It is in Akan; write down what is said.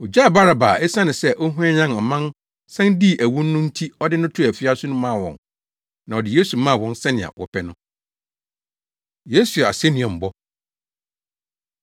Ogyaa Baraba a esiane sɛ ɔhwanyan ɔman san dii awu no nti ɔde no too afiase no maa wɔn. Na ɔde Yesu maa wɔn sɛnea wɔpɛ no. Yesu Asennuambɔ